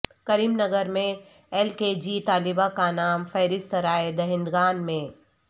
کریم نگر میں L K G طالبہ کا نام فہرست رائے دہندگان میں